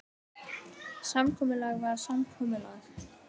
Samkomulag var samkomulag.